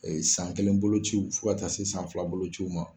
San kelen bolo ciw fo ka taa se san fila bolociw ma.